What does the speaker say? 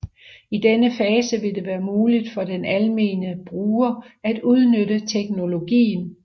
I denne fase vil det være muligt for den almene bruger at udnytte teknologien